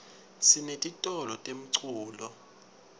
sinetitolo temculo